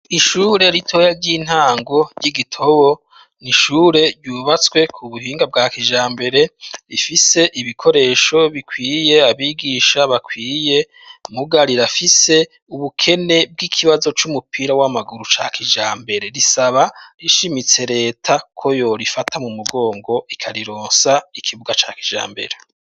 ishure ritoya ry'intango ry'igitobo n'ishure ryubatswe ku buhinga bwa kijambere rifise ibikoresho bikwiye, abigisha bakwiye mugabo rirafise ubukene bw'ikibazo c'umupira w'amaguru ca kijambere risaba rishimitse reta ko yo rifata mu mugongo ikarironsa ikibuga ca kijambere.